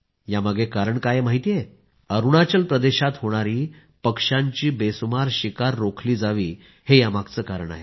यामागे कारण काय आहे माहिती आहे अरूणाचल प्रदेशात होणारी पक्षांची बेहिशेबी शिकार रोखली जावी हे यामागचे कारण आहे